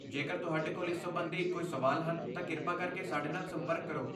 ਜੇਕਰ ਤੁਹਾਡੇ ਕੋਲ ਇਸ ਸੰਬੰਧੀ ਕੋਈ ਸਵਾਲ ਹਨ ਤਾਂ ਕਿਰਪਾ ਕਰਕੇ ਸਾਡੇ ਨਾਲ ਸੰਪਰਕ ਕਰੋ।